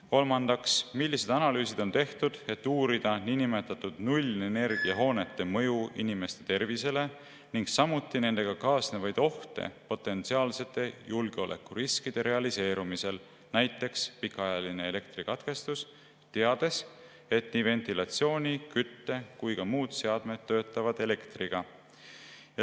Kolmandaks, millised analüüsid on tehtud, et uurida niinimetatud nullenergiahoonete mõju inimeste tervisele ning samuti nendega kaasnevaid ohte potentsiaalsete julgeolekuriskide realiseerumisel, näiteks pikaajaline elektrikatkestus, teades, et nii ventilatsiooni‑, kütte‑ kui ka muud seadmed töötavad elektriga?